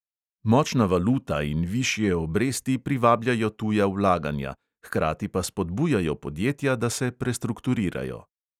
Močna valuta in višje obresti privabljajo tuja vlaganja, hkrati pa spodbujajo podjetja, da se prestrukturirajo.